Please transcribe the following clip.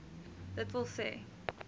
d w s